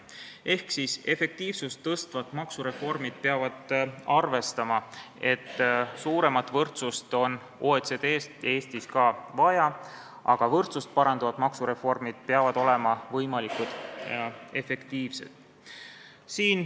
Ehk efektiivsust tõstvad maksureformid peavad arvestama, et suuremat võrdsust on ka Eestis vaja, aga võrdsust parandavad maksureformid peavad olema võimalikult efektiivsed.